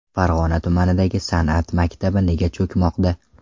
Farg‘ona tumanidagi san’at maktabi nega cho‘kmoqda?.